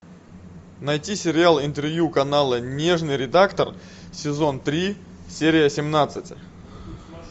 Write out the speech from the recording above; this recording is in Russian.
найти сериал интервью канала нежный редактор сезон три серия семнадцать